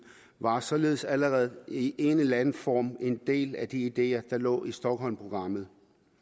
var således allerede i en eller anden form en del af de ideer der lå i stockholmprogrammet